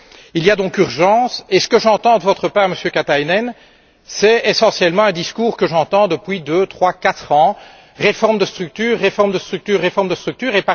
Il y a donc urgence et ce que j'entends de votre part, Monsieur Katainen, c'est essentiellement un discours que j'entends depuis deux, trois, quatre ans, à savoir réformes de structure, réformes de structure, réformes de structure...